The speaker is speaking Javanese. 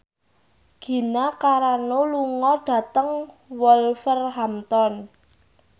Gina Carano lunga dhateng Wolverhampton